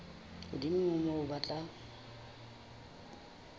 hodimo ho moo ba tla